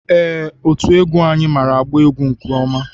Ee, otú egwu anyị maara agba egwú nke ọma.